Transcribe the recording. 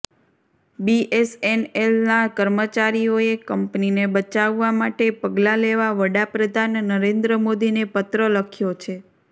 બીએસએનએલના કર્મચારીઓએ કંપનીને બચાવવા માટે પગલાં લેવા વડા પ્રધાન નરેન્દ્ર મોદીને પત્ર લખ્યો છે